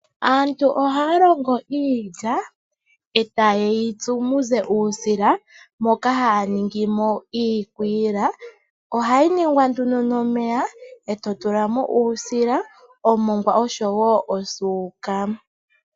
Aantu ohaya longo iilya e ta yeyitsu muze uusila moka hay ningimo iikwiila . Ohayi ningwa nduno nomeya e to tulamo uusila oshowo omongwa nosuuka.